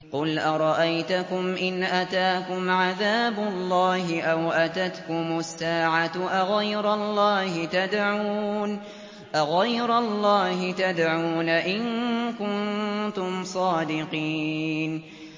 قُلْ أَرَأَيْتَكُمْ إِنْ أَتَاكُمْ عَذَابُ اللَّهِ أَوْ أَتَتْكُمُ السَّاعَةُ أَغَيْرَ اللَّهِ تَدْعُونَ إِن كُنتُمْ صَادِقِينَ